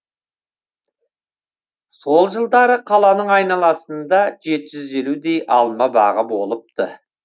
сол жылдары қаланың айналасында жеті жүз елудей алма бағы болыпты